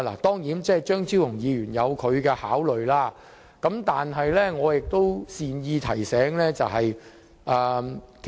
當然，張超雄議員有他的考慮，但我想善意提醒一下。